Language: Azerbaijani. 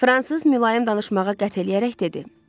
Fransız mülayim danışmağa qət eləyərək dedi.